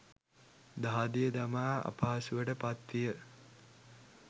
දහදිය දමා අපහසුවට පත් විය.